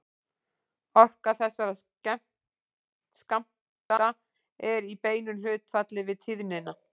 Orka þessara skammta er í beinu hlutfalli við tíðnina.